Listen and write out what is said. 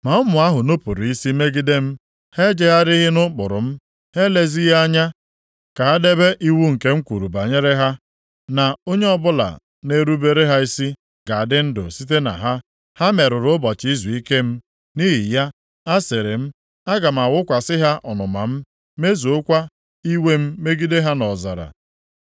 “ ‘Ma ụmụ ahụ nupuru isi megide m. Ha ejegharịghị nʼụkpụrụ m, ha elezighị anya ka ha debe iwu nke m kwuru banyere ha, “Na onye ọbụla na-erubere ha isi ga-adị ndụ site na ha,” ha merụrụ ụbọchị izuike m. Nʼihi ya, asịrị m, Aga m awụkwasị ha ọnụma m, mezuokwa iwe m megide ha nʼọzara.